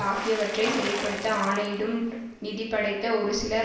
ஆகியவற்றை செயல்படுத்த ஆணையிடும் நிதி படைத்த ஒருசிலர்